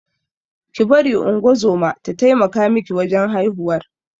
Ki bari ungozoma ta taimaka miki wajan haihuwar